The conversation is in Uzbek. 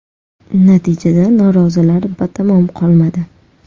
Natijada norozilar batamom qolmadi.